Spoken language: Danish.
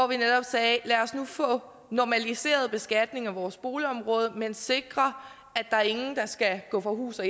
vi netop sagde lad os nu få normaliseret beskatningen af vores boligområde men sikre at ingen skal gå fra hus og